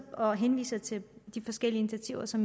og henviser til de forskellige initiativer som